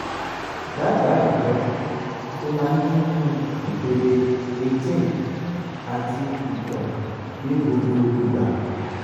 daba ìtọ́jú tó máa dínku ìpele creatine ati ito ní gbogbo igba